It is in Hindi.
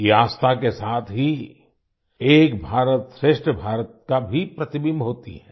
ये आस्था के साथ ही एक भारतश्रेष्ठ भारत का भी प्रतिबिम्ब होती है